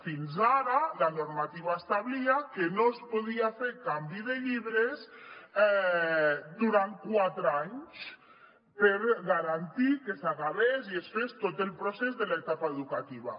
fins ara la normativa establia que no es podia fer canvi de llibres durant quatre anys per garantir que s’acabés i es fes tot el procés de l’etapa educativa